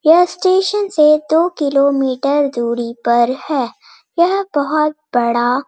यह स्टेशन से दो किलो मीटर दूरी पर है यह बहुत बड़ा --